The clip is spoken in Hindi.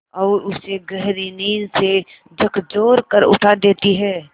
और उसे गहरी नींद से झकझोर कर उठा देती हैं